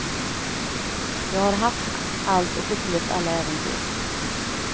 Jag har haft allt och upplevt alla äventyr.